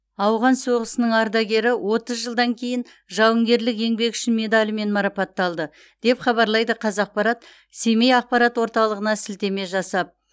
ауған соғысының ардагері отыз жылдан кейін жауынгерлік еңбегі үшін медалімен марапатталды деп хабарлайды қазақпарат семей ақпарат орталығына сілтеме жасап